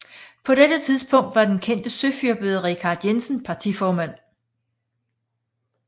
På dette tidspunkt var den kendte søfyrbøder Richard Jensen partiformand